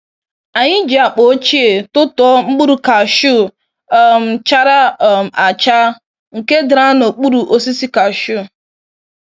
Anyi ji akpa ochie tụtụọ mkpụrụ kashu um chara um acha nke dara n'okpuru osisi kashu.